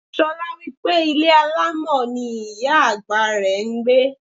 Ṣolá wípé ilé alámọ̀ ni ìyá àgbà rẹ̀ ń gbé.